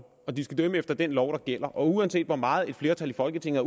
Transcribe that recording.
og de skal dømme efter den lov der gælder og uanset hvor meget et flertal i folketinget